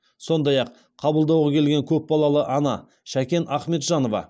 сондай ақ қабылдауға келген көпбалалы ана шәкен ахметжанова